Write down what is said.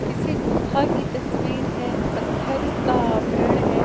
किसी गुफा की तस्वीर है पत्थर का आवरण है।